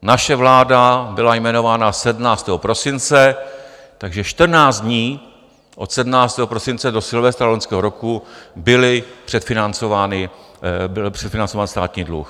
Naše vláda byla jmenována 17. prosince, takže 14 dní od 17. prosince do Silvestra loňského roku byl předfinancován státní dluh.